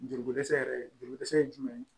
Juruko dɛsɛ yɛrɛ jigiko dɛsɛ ye jumɛn ye